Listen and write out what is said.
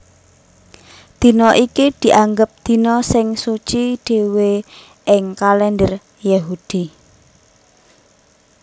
Dina iki dianggep dina sing suci dhéwé ing kalènder Yahudi